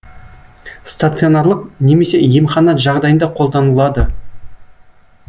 станционарлық немесе емхана жағдайында қолданылады